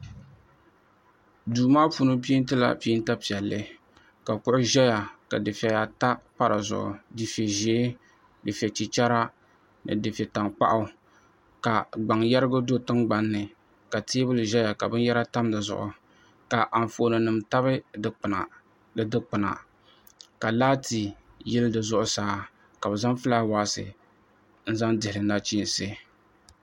Duu maa puuni peentila peenta piɛlli ka kuɣu ʒɛya ka dufɛya ata pa dizuɣu dufɛ ʒiɛ dufɛ chichɛra ni dufɛ tankpaɣu ka gbaŋ yɛrigi do tingbanni ka teebuli ʒɛya a binyɛra tam di zuɣu ka anfooni nim tabi di dikpuna ka laati yili zuɣusaa ka bi zaŋ fulaawaasi n zaŋ dihili nachiinsi